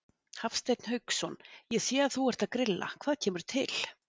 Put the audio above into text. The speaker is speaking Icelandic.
Hafsteinn Hauksson: Ég sé að þú ert að grilla, hvað kemur til?